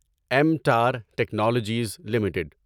ایمٹار technologies limited